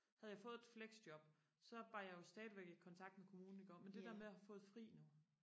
havde jeg fået et flexjob så var jeg jo stadigvæk i kontakt med kommunen iggå men det der med og have fået fri nu